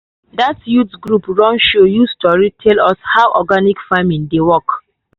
that youth group run show use tori take tell us how organic farming dey work.